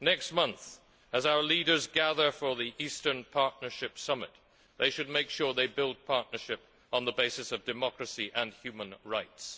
Next month, as our leaders gather for the Eastern Partnership summit, they should make sure they build partnership on the basis of democracy and human rights.